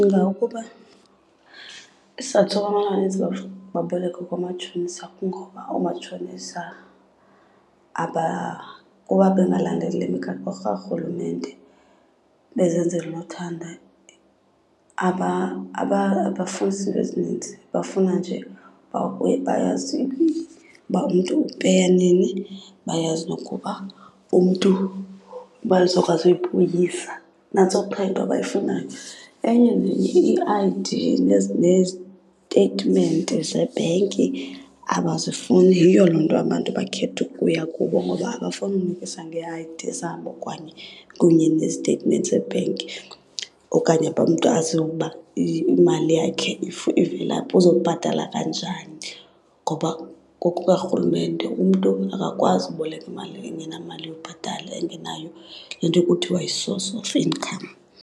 Ndicinga ukuba isizathu soba abantu amanintsi baboleke koomatshonisa kungoba oomatshonisa kuba bengalandeli le migaqo karhulumente bezenzela unothanda, abafunisi iinto ezininzi. Bafuna nje uba kuye bayazi uba umntu upeya nini, bayazi nokuba umntu imali uba uzokwazi uyibuyisa. Nantso qha into abayifunayo. Enye nenye ii-I_D neziteyitimenti zebhenki abazifuni. Yiyo loo nto abantu bakhetha ukuya kubo ngoba abafuni unikisa ngee-I_D zabo okanye kunye neziteyitimenti zebhenki okanye umntu aziwe ukuba imali yakhe ivelaphi, uzobhatala kanjani. Ngoba ngokukarhulumente umntu akakwazi uboleka imali engenamali yobhatala, engenayo le nto kuthiwa yi-source of income.